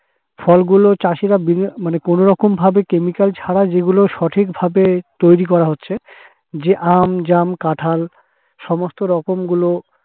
ফলগুলো চাষীরা মানে কোনরকম ভাবে chemical ছাড়া যেগুলো সঠিকভাবে তৈরি করা হচ্ছে, যে আম, জাম, কাঁঠাল সমস্তরকম গুলো